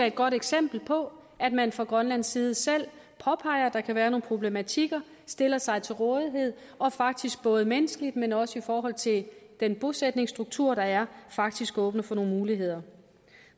et godt eksempel på at man fra grønlands side selv påpeger at der kan være nogle problematikker stiller sig til rådighed og faktisk både menneskeligt men også i forhold til den bosætningsstruktur der er faktisk åbner for nogle muligheder